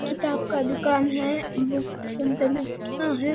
किताब का दुकान है बुक है।